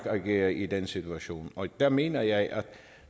agerer i den situation og der mener jeg at